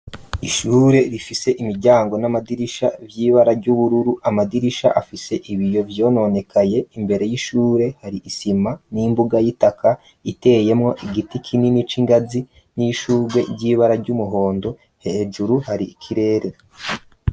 Ishure rifise imiryango n'amadirisha by'ibara ry'ubururu amadirisha afise ibiyo vyononekaye imbere y'ishure hari isima n'imbuga y'itaka iteyemo igiti kinini c'ingazi n'ishurwe ryibara ry'umuhondo hejuru hari ikirere.